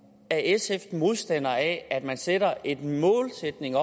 er sf modstander af at man sætter en målsætning